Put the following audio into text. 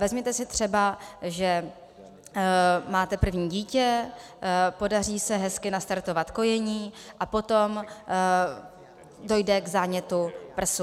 Vezměte si třeba, že máte první dítě, podaří se hezky nastartovat kojení a potom dojde k zánětu prsu.